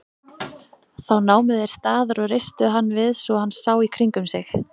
Þá námu þeir staðar og reistu hann við svo hann sá í kringum sig.